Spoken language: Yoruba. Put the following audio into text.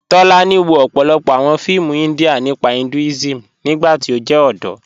Tólànì wọ̀ ọ̀pọ̀lọ́pọ̀ awọn fíìmù India nípa Hinduism nígbàtí ó jẹ́ ọdọ́.